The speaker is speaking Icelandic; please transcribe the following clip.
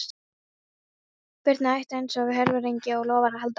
Birna át einsog herforingi og lofar að halda því áfram.